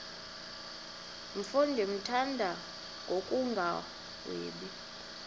mfo ndimthanda ngokungagwebi